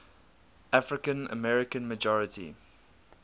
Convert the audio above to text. african american majority